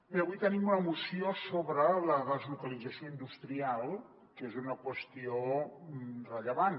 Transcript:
bé avui tenim una moció sobre la deslocalització industrial que és una qüestió rellevant